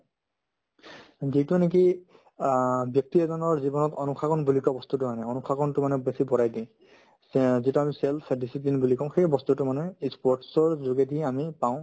যিটো নেকি অ ব্যক্তি এজনৰ জীৱনত অনুশাসন বুলি কোৱা বস্তুতো মানে অনুশাসনতো মানে বেছি বঢ়াই দিয়ে তে যিটো আমি self discipline বুলি কও সেই বস্তুতো মানুহে ই sports ৰ যোগেদি আমি পাওঁ